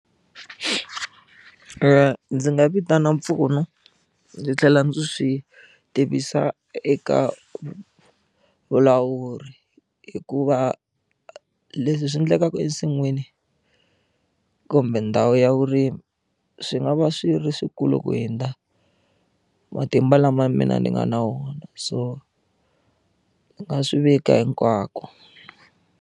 Ndzi nga vitana mpfuno ndzi tlhela ndzi swi tivisa eka vulawuri hikuva leswi swi endlekaka ensin'wini kumbe ndhawu ya vurimi swi nga va swi ri swikulu ku hundza matimba lama ya mina ni nga na wona so ni nga swi vika hinkwako.